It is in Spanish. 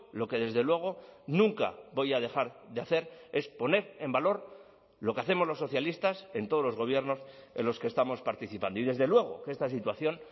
lo que desde luego nunca voy a dejar de hacer es poner en valor lo que hacemos los socialistas en todos los gobiernos en los que estamos participando y desde luego que esta situación